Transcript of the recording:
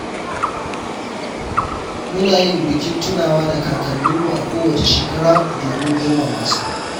Muna yin bikin tunawa da kakanninmu a kowace shekara domin girmama su.